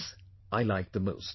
This I liked the most